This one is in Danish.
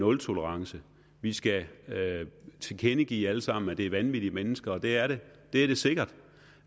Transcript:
nultolerance vi skal tilkendegive alle sammen at det er vanvittige mennesker og det er det det sikkert